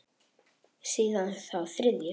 Síðan þá þriðju.